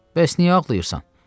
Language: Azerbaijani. Bəs niyə ağlayırsan?